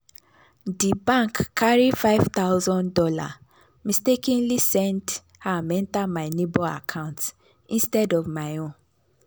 the bank carry five thousand dollars mistakenly send am enter my neighbor account instead of my own.